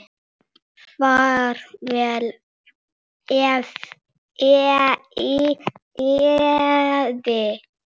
Far vel, Eyvi.